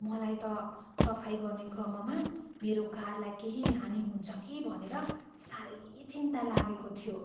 मलाई त सफाइ गर्ने क्रममा मेरो कारलाई केही हानि हुन्छ कि भनेर साह्रै चिन्ता लागेको थियो।